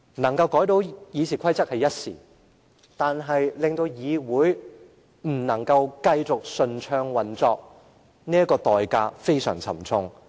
成功修訂《議事規則》只是一時之勝，但會令議會不能繼續順暢運作，這代價非常沉重。